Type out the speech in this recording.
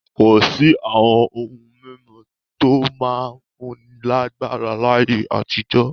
Kò sí àwọn ohun-mímu tó máa ń fúnni lágbára láyé àtijọ́.